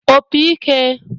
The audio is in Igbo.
opi ike